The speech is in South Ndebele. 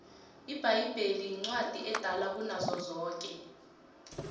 ibhayibheli incwadi edala kunazo zonke